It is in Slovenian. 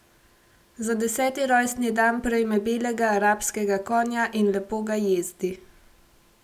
Za deseti rojstni dan prejme belega arabskega konja in lepo ga jezdi.